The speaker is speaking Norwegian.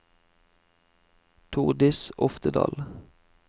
Tordis Oftedal